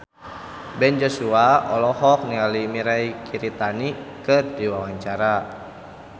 Ben Joshua olohok ningali Mirei Kiritani keur diwawancara